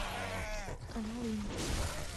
канал интер